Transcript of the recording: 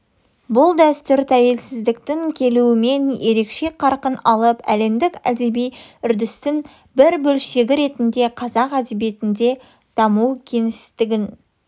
бұл дәстүр тәуелсіздіктің келуімен ерекше қарқын алып әлемдік әдеби үрдістің бір бөлшегі ретінде қазақ әдебиетінде де даму кеңістігін